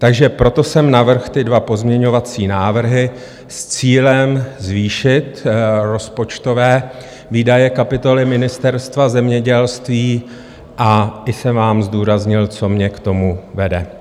Takže proto jsem navrhl ty dva pozměňovací návrhy s cílem zvýšit rozpočtové výdaje kapitoly Ministerstva zemědělství a i jsem vám zdůraznil, co mě k tomu vede.